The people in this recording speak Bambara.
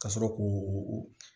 Ka sɔrɔ k'o